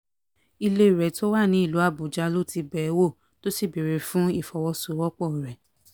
ilé rẹ̀ tó wà nílùú àbújá ló ti bẹ̀ ẹ́ wò tó sì béèrè fún ìfọwọ́sowọ́pọ̀ rẹ̀